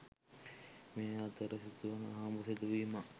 මේ අතර සිදුවන අහඹු සිදුවීමක්